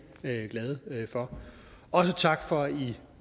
glade for også tak for